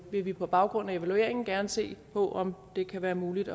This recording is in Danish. vil vi på baggrund af evalueringen gerne se på om det kan være muligt